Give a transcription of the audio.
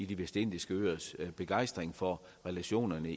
de vestindiske øers begejstring for relationerne